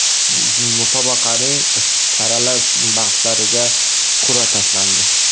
Musobaqaning saralash bahslariga qur’a tashlandi.